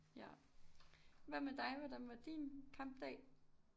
Ja hvad med dig hvordan var din kampdag